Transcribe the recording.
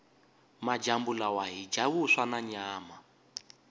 majambu lawa hhija vuswa nanyama